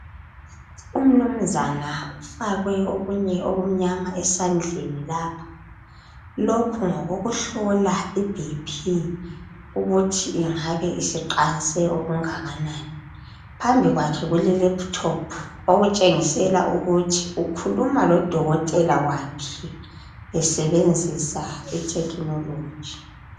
Umnumzana ufakwe okunye okumnyama esandleni lapha. Lokhu ngokokuhlola iBP ukuthi ingabe isiqanse okungakanani. Phambili kwakhe kulelephuthophu okutshengisela ukuthi ukhuluma lodokotela wakhe esebenzisa ithekhinoloji.